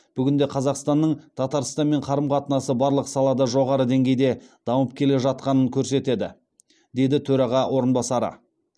бүгінде қазақстанның татарстанмен қарым қатынасы барлық салада жоғары деңгейде дамып келе жатқанын көрсетеді деді төраға орынбасары